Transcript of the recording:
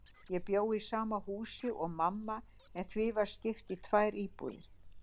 Ég bjó í sama húsi og mamma, en því var skipt í tvær íbúðir.